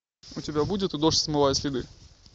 у тебя будет дождь смывает следы